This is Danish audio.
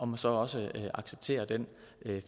må så også acceptere den